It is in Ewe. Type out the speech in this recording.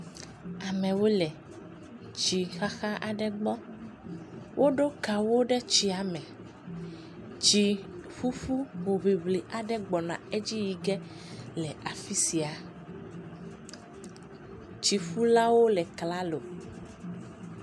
Amewo le tsi xaxa aɖe gbɔ. Woɖo kawo ɖe tsia me. Tsi ƒuƒu hoŋliŋli aɖe gbɔna edzi yi ge le afi sia. Tsiƒulawo le klalo.